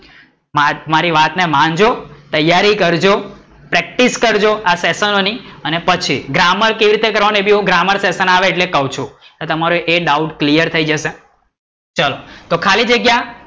મારી વાત ને માનજો, તૈયારી કરજો, practice કરજો આ સેસનો ની અને પછી ગ્રામર કેવી રીતે કરવાનું એ પણ ગ્રામર સેશન આવે એટલે ક્વ છું, એ doubt clear થઇ જશે ચલો તો ખાલી જગ્યા